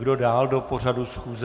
Kdo dále do pořadu schůze?